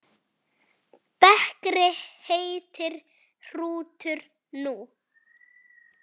Bekri heitir hrútur nú.